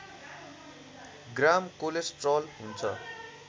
ग्राम cholesterol हुन्छ